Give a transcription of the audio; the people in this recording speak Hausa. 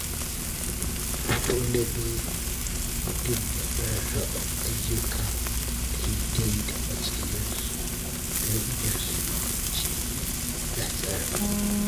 Dole ne mutum ya rarraba ayyuka dai-dai da matsayinsu don yinnsu cikin nasara.